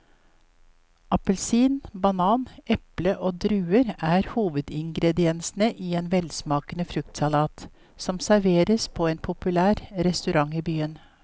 Appelsin, banan, eple og druer er hovedingredienser i en velsmakende fruktsalat som serveres på en populær restaurant i byen.